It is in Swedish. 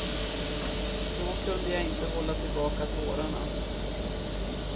Då kunde jag inte hålla tillbaka tårarna.